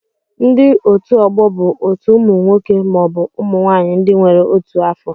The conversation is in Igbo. Ndị otu ọgbọ bụ otu ụmụ nwoke maọbụ ụmụ nwaanyị ndị nwere otu afọ